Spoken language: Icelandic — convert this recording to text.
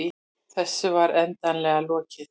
Þessu var endanlega lokið.